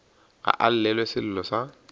ga a llelwe sello sa